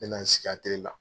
N bɛna n sigi sigi atɛliye la.